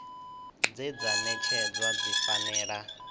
dze dza ṅetshedzwa dzi fanela